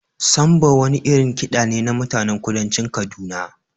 Samba wani irin kiɗa ne na mutanen kudancin Kaduna.